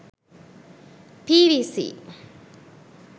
pvc